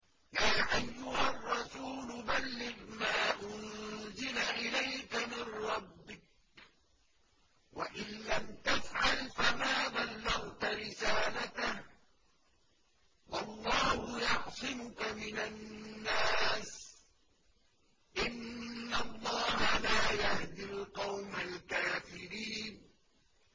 ۞ يَا أَيُّهَا الرَّسُولُ بَلِّغْ مَا أُنزِلَ إِلَيْكَ مِن رَّبِّكَ ۖ وَإِن لَّمْ تَفْعَلْ فَمَا بَلَّغْتَ رِسَالَتَهُ ۚ وَاللَّهُ يَعْصِمُكَ مِنَ النَّاسِ ۗ إِنَّ اللَّهَ لَا يَهْدِي الْقَوْمَ الْكَافِرِينَ